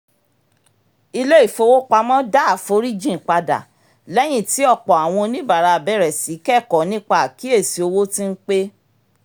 ilé-ifowopamọ́ dá àforíjìn padà lẹ́yìn tí òpò àwọn oníbàárà bẹ̀rẹ̀ sí í kẹ̀kọ̀ọ̀ nípa àkíyèsí owó tí ń pé